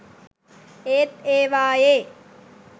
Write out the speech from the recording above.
ඒත් ඒවායේ